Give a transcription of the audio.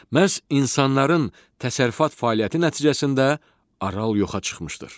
Məhz insanların təsərrüfat fəaliyyəti nəticəsində Aral yoxa çıxmışdır.